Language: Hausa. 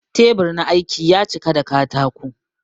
Teɓur na aiki ya ciƙa da kataƙo